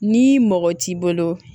Ni mɔgɔ t'i bolo